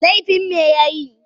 Laifin me ya yi?